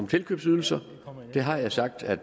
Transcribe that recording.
tilkøbsydelser har jeg sagt at